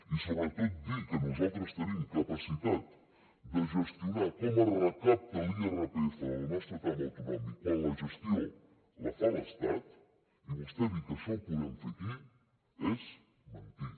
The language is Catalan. i sobretot dir que nosaltres tenim capacitat de gestionar com es recapta l’irpf del nostre tram autonòmic quan la gestió la fa l’estat i vostè dir que això ho podem fer aquí és mentir